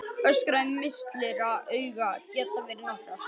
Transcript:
Orsakir mislitra augna geta verið nokkrar.